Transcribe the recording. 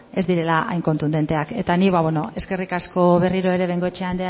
ez direla hain kontudenteak eta ni beno eskerrik asko berriro ere bengoechea